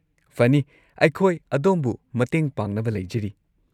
ꯐꯅꯤ, ꯑꯩꯈꯣꯏ ꯑꯗꯣꯝꯕꯨ ꯃꯇꯦꯡ ꯄꯥꯡꯅꯕ ꯂꯩꯖꯔꯤ꯫